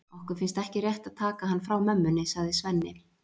Okkur finnst ekki rétt að taka hann frá mömmunni, sagði Svenni.